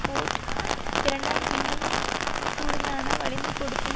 board இரண்டாம் இன்னும் கூடுதலான வளைந்து கொடுக்கும்